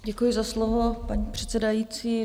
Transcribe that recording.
Děkuju za slovo, paní předsedající.